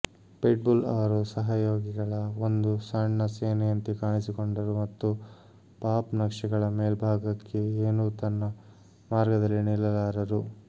pit bull ಅವರು ಸಹಯೋಗಿಗಳ ಒಂದು ಸಣ್ಣ ಸೇನೆಯಂತೆ ಕಾಣಿಸಿಕೊಂಡರು ಮತ್ತು ಪಾಪ್ ನಕ್ಷೆಗಳ ಮೇಲ್ಭಾಗಕ್ಕೆ ಏನೂ ತನ್ನ ಮಾರ್ಗದಲ್ಲಿ ನಿಲ್ಲಲಾರರು